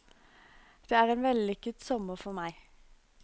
Det er en vellykket sommer for meg.